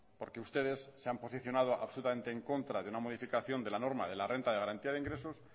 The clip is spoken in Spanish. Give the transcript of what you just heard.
porque ustedes se han posicionado absolutamente en contra de una modificación de la norma de la renta de garantía de ingresos